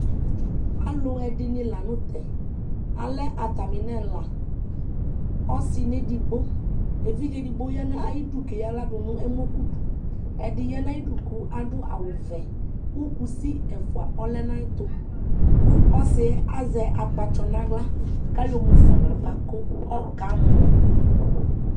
alʋɛdini lanʋtɛ, alɛ atami nʋ ɛla, ɔsii nʋ ɛdigbɔ, ɛvidzɛ ɛdigbɔ yanʋ ayidʋ kʋ ɛyala dʋnʋ ɛmɔ kʋdʋ, ɛdi yanʋ ayidʋ kʋ adʋ awʋ vɛ kʋ kʋsi ɛƒʋa ɔlɛnʋ ayɛtʋ kʋ ɔsiiɛ azɛ akpatsɔ nʋ ala kʋ ayɔ mʋƒa nʋ aɣa ɔka mɔ